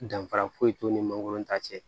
Danfara foyi t'u ni mangoron ta cɛ